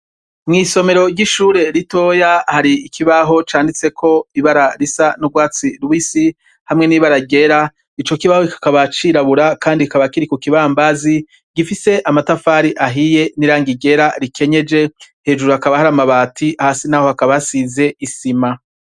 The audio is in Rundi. Mw' isomero ry' ishure ritoya, hari ikibaho canditseko ibara risa n' urwatsi rubisi, hamwe n' ibara ryera, ico kibaho kikaba cirabura, kandi kikaba Kiri ku kibambazi, gifise amatafari ahiye n' irangi ryera rikenyeje, hejuru hakaba hari amabati, hasi naho hakaba hasize isima.